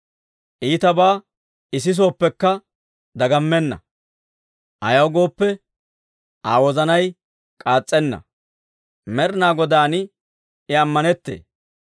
Iitabaa I sisooppekka dagammenna; ayaw gooppe, Aa wozanay k'aas's'ena; Med'inaa Godaan I ammanettee.